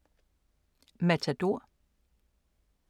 Matador